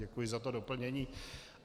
Děkuji za to doplnění.